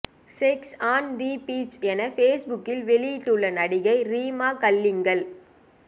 sex on the beach என பேஸ்புக்கில் வெளியிட்டு உள்ள நடிகை ரீமா கல்லிங்கல்